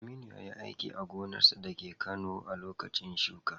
Aminu yayi aiki a gonarsa dake Kano a lokacin shuka.